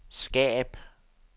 skab